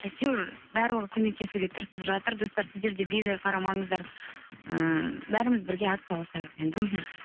әйтеуір барлығы көмектесуге тырысып жатыр достар сіздер де бейжай қарамаңыздар ыыы бәріміз бірге атсалысайық енді мхм